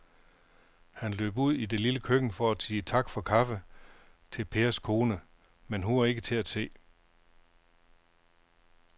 Han løb ud i det lille køkken for at sige tak for kaffe til Pers kone, men hun var ikke til at se.